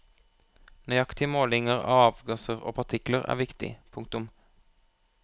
Nøyaktige målinger av avgasser og partikler er viktig. punktum